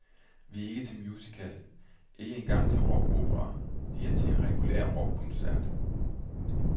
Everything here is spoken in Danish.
Vi er ikke til en musical, ikke engang til en rockopera, vi er til en regulær rockkoncert.